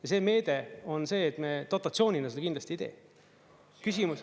Ja see meede on see, et me dotatsioonina seda kindlasti ei tee.